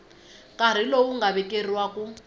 nkarhi lowu nga vekeriwa ku